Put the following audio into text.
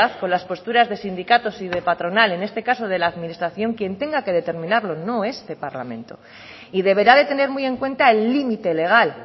con las posturas de sindicatos y de patronal en este caso de la administración quien tenga que determinarlo no este parlamento y deberá de tener muy en cuenta el límite legal